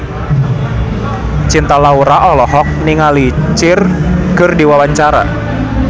Cinta Laura olohok ningali Cher keur diwawancara